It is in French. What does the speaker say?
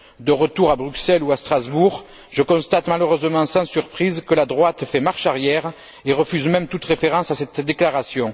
De retour à Bruxelles ou à Strasbourg, je constate malheureusement sans surprise que la droite fait marche arrière et refuse même toute référence à cette déclaration.